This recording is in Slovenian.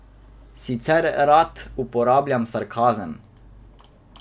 Sicer rad uporabljam sarkazem.